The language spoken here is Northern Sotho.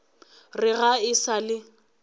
re ga e sa le